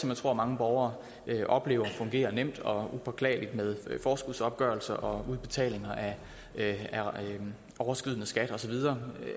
jeg tror mange borgere oplever fungerer nemt og upåklageligt med forskudsopgørelse og udbetaling af overskydende skat og så videre